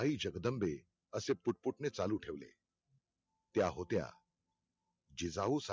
आई जगदंबे असे पुटपुटणे चालु ठेवले. त्या होत्या जिजाऊ